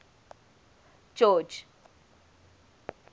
george